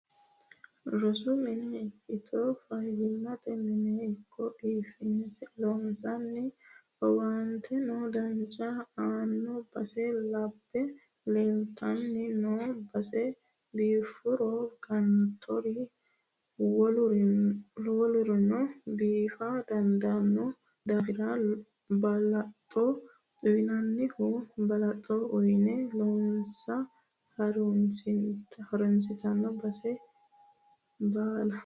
Rosu minna ikkitto fayyimate mine ikko biifinse loonsoniho owaanteno dancha aano base labbe leelittanni noe base biifuro gantori wolurino biifa dandaano daafira balaxo uyinanniha balaxo uyine loossa harunsitto base baalla.